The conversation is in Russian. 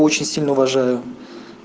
очень сильно уважаю